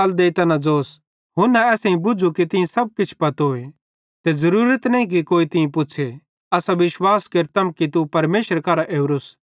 हुन्ना असेईं बुझ़ू कि तीं सब किछ पत्तोए ते ज़रूरत नईं कि कोई तीं पुछ़े असां विश्वास केरतम कि तू परमेशरे करां ओरोस